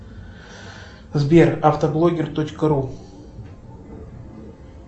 сбер автоблогер точка ру